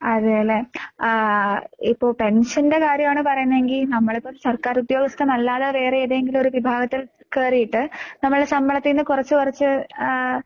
അതേല്ലേ? ആഹ് ഇപ്പൊ പെൻഷന്റെ കാര്യവാണ് പറയുന്നേങ്കി നമ്മളിപ്പോ സർക്കാരുദ്യോഗസ്ഥനല്ലാതെ വേറെ ഏതെങ്കിലുവൊരു വിഭാഗത്തിൽ കേറിയിട്ട് നമ്മടെ ശമ്പളത്തീന്ന് കൊറച്ച് കൊറച്ച് ആഹ്